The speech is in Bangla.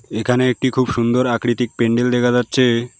এখানে একটি খুব সুন্দর আকৃতিক প্যান্ডেল দেখা যাচ্ছে।